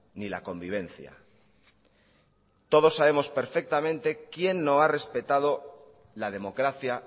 ni la convivencia todos sabemos perfectamente quién no ha respetado la democracia